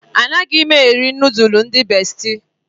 Anaghị m eri nudulu ndị bestị.